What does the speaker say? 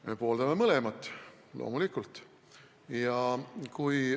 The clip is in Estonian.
Me pooldame mõlemat, loomulikult.